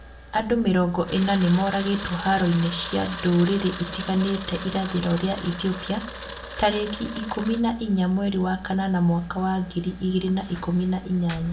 Andũ mĩrongo ĩna nĩmoragĩtwo haro-inĩ cia ndũrĩrĩ itiganĩte irathĩro rĩa Ethiopia tarĩki ikũmi na inya mweri wa kanana mwaka wa ngiri igĩrĩ na ikũmi na inyanya